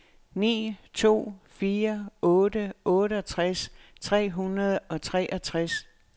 ni to fire otte otteogtres tre hundrede og treogtres